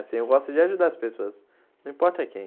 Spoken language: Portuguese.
Assim, eu gosto de ajudar as pessoas, não importa quem.